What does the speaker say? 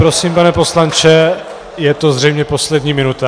Prosím, pane poslanče, je to zřejmě poslední minuta.